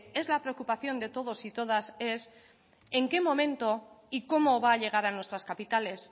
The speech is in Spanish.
es la preocupación de todos y todas es en qué momento y cómo va a llegar a nuestras capitales